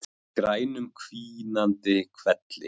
Í grænum hvínandi hvelli.